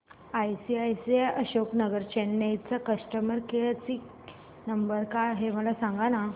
ICICI Ashok Nagar Chennai चा customer care number काय आहे मला सांगाना